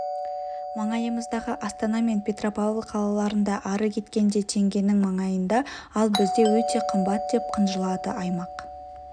маңайымыздағы астана мен петропавл қалаларында ары кеткенде теңгенің маңайында ал бізде өте қымбат деп қынжылады аймақ